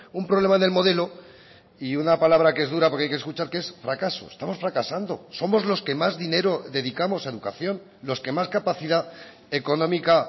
un problema del modelo y una palabra que es dura porque hay que escuchar que es fracaso estamos fracasando somos los que más dinero dedicamos a educación los que más capacidad económica